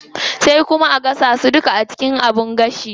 Sai kuma a gasa su duka a cikin abin gashi.